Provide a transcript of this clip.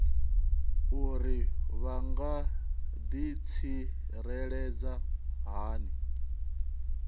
uri vha nga ḓitsireledza hani